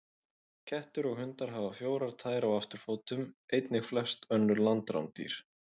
Kettir og hundar hafa fjórar tær á afturfótum, einnig flest önnur landrándýr.